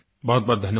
बहुतबहुत धन्यवाद